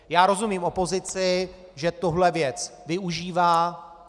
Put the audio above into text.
Já rozumím opozici, že tuhle věc využívá.